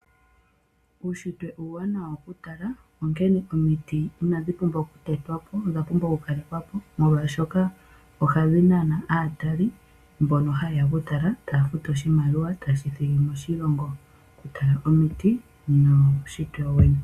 Uunshitwe uuwanawa okutala onkene omiti inadhi pumbwa okutetwa po odha pumbwa okukalekwa po, molwaashoka ohadhi nana aatali mbono ha yeya okutala taya futu oshimaliwa taye shi thigi moshilongo mokutala omiti nuunshitwe.